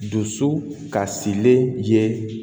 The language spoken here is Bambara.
Dusu kasilen ye